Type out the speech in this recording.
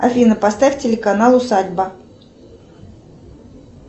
афина поставь телеканал усадьба